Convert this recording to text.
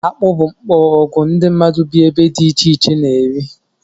Akpụ bụ mkporoogwu ndị mmadụ bị ebe dị ichè iche na -eri